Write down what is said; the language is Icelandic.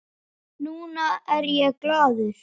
Núna er ég glaður.